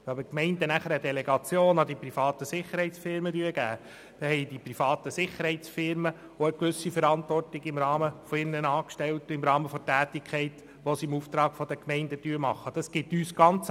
Wenn die Gemeinden dann eine Delegation an die privaten Sicherheitsfirmen vornehmen, dann tragen auch die privaten Sicherheitsfirmen eine gewisse Verantwortung für ihre Angestellten im Rahmen der Tätigkeit, die sie im Auftrag der Gemeinden ausführen.